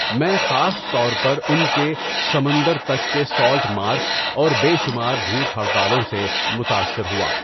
میں خاص طور پر ان کے سمندر تک کے سالٹ مارچ اور بے شمار بھوک ہڑتالوں سے متاثر ہوا۔